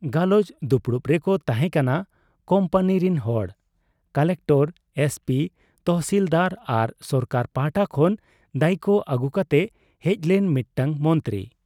ᱜᱟᱞᱚᱪ ᱫᱩᱯᱩᱲᱩᱵ ᱨᱮᱠᱚ ᱛᱟᱦᱮᱸ ᱠᱟᱱᱟ ᱠᱩᱢᱯᱟᱱᱤ ᱨᱤᱱ ᱦᱚᱲ, ᱠᱚᱞᱮᱠᱴᱚᱨ, ᱮᱥᱯᱤ, ᱛᱚᱦᱥᱤᱞᱫᱟᱨ ᱟᱨ ᱥᱚᱨᱠᱟᱨ ᱯᱟᱦᱴᱟ ᱠᱷᱚᱱ ᱫᱟᱭᱤᱠ ᱟᱹᱜᱩ ᱠᱟᱛᱮ ᱦᱮᱡᱞᱮᱱ ᱢᱤᱫᱴᱟᱹᱝ ᱢᱚᱱᱛᱨᱤ ᱾